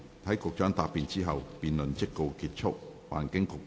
在局長答辯後，辯論即告結束。